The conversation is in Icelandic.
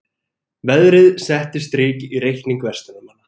Veðrið setti strik í reikning verslunarmanna